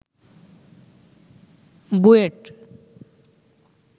BUET